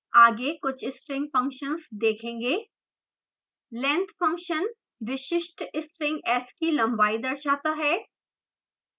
आगे कुछ string functions देखेंगे length function विशिष्ट string s की लंबाई दर्शाता है